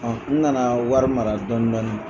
n na na wari mara dɔɔnin dɔɔnin.